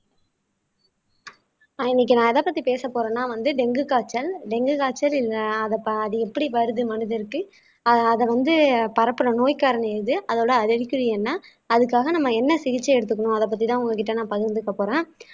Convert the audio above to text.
ஆஹ் இன்னைக்கு நான் எதப்பத்தி பேசப்போறேன்னா வந்து டெங்கு காய்ச்சல் டெங்கு காய்ச்சல் அது எப்படி வருது மனதிற்கு ஆஹ் அதை வந்து பரப்பின நோய் காரணம் எது அதோட அறிகுறி என்ன அதுக்காக நம்ம என்ன சிகிச்சை எடுத்துக்கணும் அதைப் பத்திதான் உங்ககிட்ட நான் பகிர்ந்துக்க போறேன்